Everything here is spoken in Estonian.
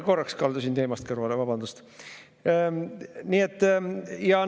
Korraks kaldusin teemast kõrvale, vabandust!